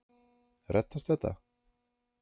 Reddast þetta?